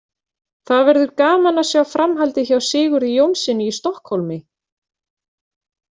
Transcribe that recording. Það verður gaman að sjá framhaldið hjá Sigurði Jónssyni í Stokkhólmi.